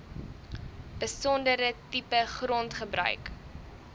besondere tipe grondgebruik